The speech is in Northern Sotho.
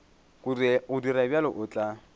go dira bjalo o tla